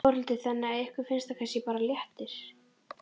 Þórhildur: Þannig að ykkur finnst það kannski bara léttir?